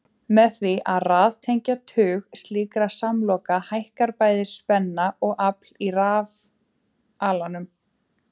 Með því að raðtengja tug slíkra samloka hækkar bæði spenna og afl í rafalanum.